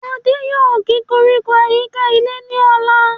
Adé yòó gé koríko àyíká ilé ní ọ̀la